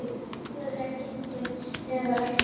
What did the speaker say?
Þótt veðrið væri gengið niður var ekkert lát á ofankomunni.